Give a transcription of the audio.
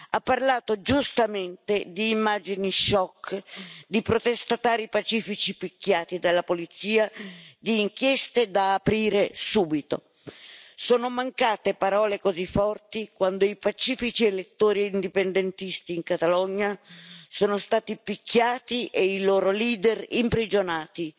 Ha parlato giustamente di immagini shock, di protestatari pacifici picchiati dalla polizia, di inchieste da aprire subito. Sono mancate parole così forti quando i pacifici elettori indipendentisti in Catalogna sono stati picchiati e i loro leader imprigionati.